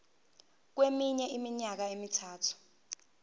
kweminye iminyaka emithathu